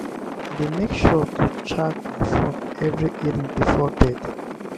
i dey make sure to charge my phone every evening before bed.